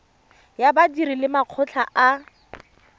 ya badiri le makgotla a